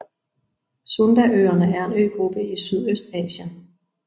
Sundaøerne er en øgruppe i Sydøstasien